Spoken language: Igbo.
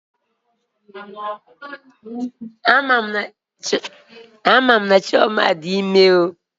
Amam na Chioma di ime o